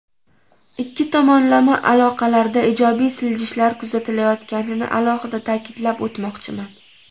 Ikki tomonlama aloqalarda ijobiy siljishlar kuzatilayotganini alohida ta’kidlab o‘tmoqchiman.